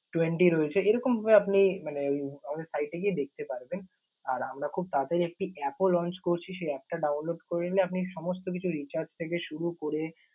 twenty রয়েছে। এরকমভাবে আপনি মানে আমাদের site এ গিয়ে দেখতে পারবেন। আর আমরা খুব তাড়াতড়ি একটি app ও launch করছি। সেই app টা download করে নিলে আপনি সমস্ত কিছু recharge থেকে শুরু করে